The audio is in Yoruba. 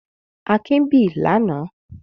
Akin bì lánàá?